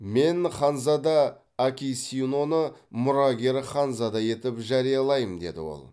мен ханзада акисиноны мұрагер ханзада етіп жариялаймын деді ол